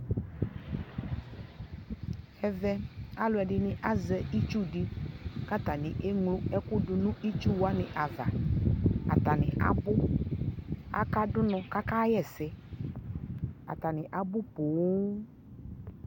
Ɛvɛ aluɛ dιnι azɛ itsu di kata ni ɛɣlo ɛkuɛdi ya du nu itsu wani avaAtani abu Aka du nɔ kaka ɣɛ sɛAta ni abu poo